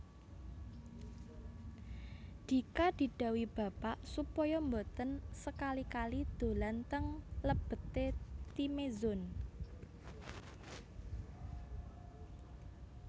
Dika didhawuhi Bapak supaya mboten sekali kali dolan teng lebet e Timezone